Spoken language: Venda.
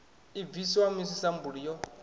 i bviswa musi sambulu yo